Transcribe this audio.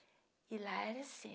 E lá era assim.